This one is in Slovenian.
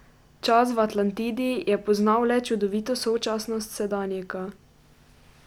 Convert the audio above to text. Čas v Atlantidi je poznal le čudovito sočasnost sedanjika.